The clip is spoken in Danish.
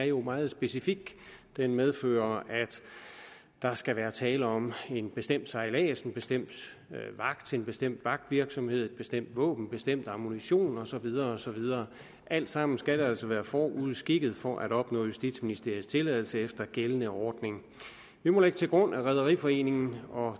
jo er meget specifik den medfører at der skal være tale om en bestemt sejlads en bestemt vagt en bestemt vagtvirksomhed et bestemt våben bestemt ammunition og så videre og så videre alt sammen skal altså være forudskikket for at opnå justitsministeriets tilladelse efter gældende ordning vi må lægge til grund at rederiforeningerne og